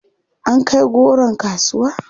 An kai goron kasuwa?